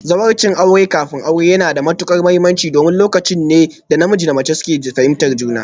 Zawarcin aure kafin aure yana da matuƙar mahimmanci domin lokaci ne da namiji da mace suke fahimtar juna